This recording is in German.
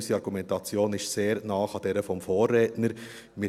Unsere Argumentation ist sehr nahe an derjenigen des Vorredners.